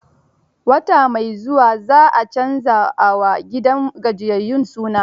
Wata mai zuwa za a canza a wa gidan gajiyayyun suna.